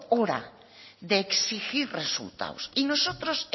hora de exigir resultados y nosotros